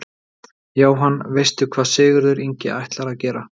Jóhann: Veistu hvað Sigurður Ingi ætlar að gera?